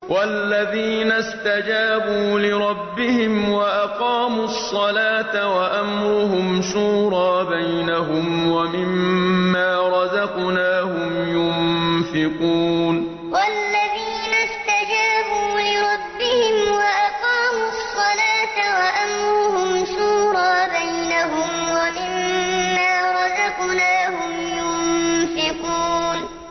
وَالَّذِينَ اسْتَجَابُوا لِرَبِّهِمْ وَأَقَامُوا الصَّلَاةَ وَأَمْرُهُمْ شُورَىٰ بَيْنَهُمْ وَمِمَّا رَزَقْنَاهُمْ يُنفِقُونَ وَالَّذِينَ اسْتَجَابُوا لِرَبِّهِمْ وَأَقَامُوا الصَّلَاةَ وَأَمْرُهُمْ شُورَىٰ بَيْنَهُمْ وَمِمَّا رَزَقْنَاهُمْ يُنفِقُونَ